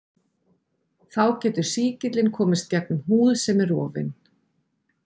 Þá getur sýkillinn komist gegnum húð sem er rofin.